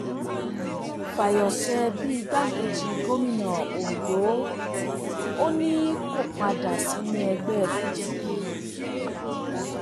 fàyọṣe bẹ igbákejì gómìnà ondo ò ní kó padà sínú ẹgbẹ pdp